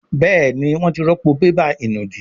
Béèni wón tí rọpo bébà ìnùdí.